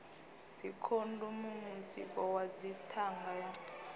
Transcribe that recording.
dzikhondomu mutsiko wa dzithanga u